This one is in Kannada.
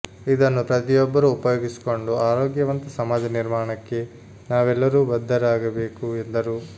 ಇದನ್ನು ಪ್ರತಿಯೊಬ್ಬರೂ ಉಪಯೋಗಿಸಿಕೊಂಡು ಆರೋಗ್ಯವಂತ ಸಮಾಜ ನಿರ್ಮಾಣಕ್ಕೆ ನಾವೆಲ್ಲರೂ ಬದ್ದರಾಗಬೇಕು ಎಂದರು